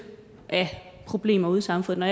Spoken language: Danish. af problemer ude i samfundet